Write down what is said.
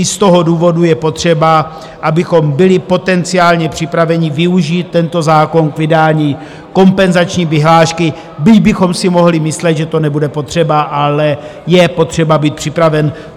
I z toho důvodu je potřeba, abychom byli potenciálně připraveni využít tento zákon k vydání kompenzační vyhlášky, byť bychom si mohli myslet, že to nebude potřeba, ale je potřeba být připraven.